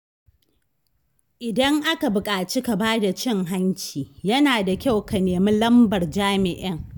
Idan aka buƙaci ka bada cin hanci, yana da kyau ka nemi lambar jami’in.